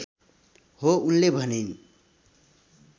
हो उनले भनिन्